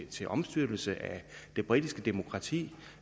til omstyrtelse af det britiske demokrati